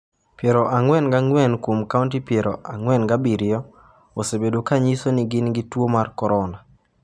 44 kuom kaunti 47 osebedo ka nyiso ni gin gi tuo mar korona.